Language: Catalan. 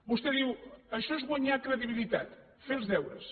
vostè diu això és guanyar credibilitat fer els deures